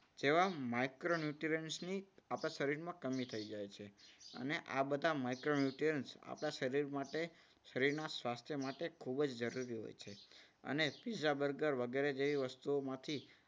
જેવા micronutrients ની આપણા શરીરમાં કમી થઈ જાય છે. અને આ બધા micronutrients આપણા શરીર માટે શરીરના સ્વાસ્થ્ય માટે ખૂબ જ જરૂરી હોય છે. અને પીઝા બર્ગર વગેરે જેવી વસ્તુઓ માંથી